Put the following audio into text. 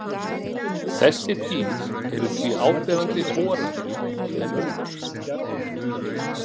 Þessi dýr eru því áberandi horaðri en önnur.